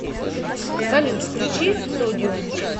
салют включи содиум